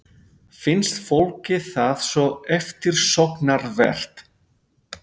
Finnst fólki það svo eftirsóknarvert?